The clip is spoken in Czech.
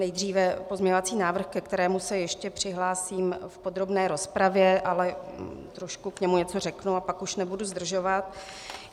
Nejdříve pozměňovací návrh, ke kterému se ještě přihlásím v podrobné rozpravě, ale trošku k němu něco řeknu a pak už nebudu zdržovat.